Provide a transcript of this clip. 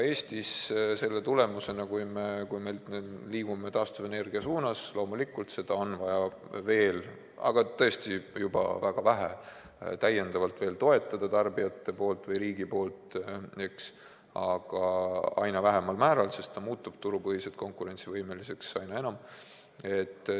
Selle tulemusena ka Eestis, kui me liigume taastuvenergia suunas – loomulikult, seda on vaja veel – väga vähe täiendavalt toetada tarbijate või riigi poolt, sest see muutub turupõhiselt üha konkurentsivõimelisemaks.